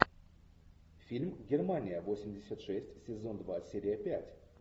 фильм германия восемьдесят шесть сезон два серия пять